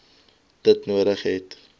dit nodig het